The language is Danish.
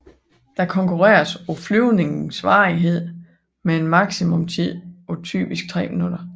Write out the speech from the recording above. Der konkurreres på flyvningens varighed med en maksimumstid på typisk 3 minutter